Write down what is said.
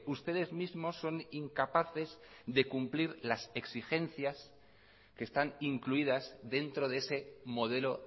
ustedes mismos son incapaces de cumplir las exigencias que están incluidas dentro de ese modelo